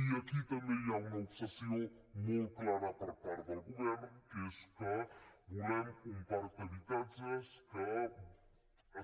i aquí també hi ha una obsessió molt clara per part del govern que és que volem un parc d’habitatges que